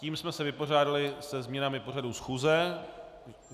Tím jsme se vypořádali se změnami pořadu schůze.